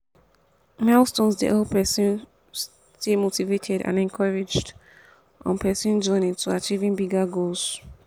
milestones dey help pesin stay motivated and encouraged on pesin journey to achieving bigger goals.